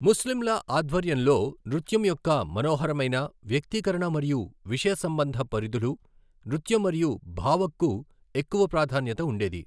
ముస్లింల ఆధ్వర్యంలో నృత్యం యొక్క మనోహరమైన, వ్యక్తీకరణ మరియు విషయ సంబంధ పరిధులు, నృత్యం మరియు భావగ్కు ఎక్కువ ప్రాధాన్యత ఉండేది.